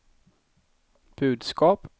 budskap